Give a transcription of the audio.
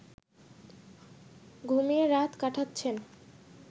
ঘুমিয়ে রাত কাটাচ্ছেন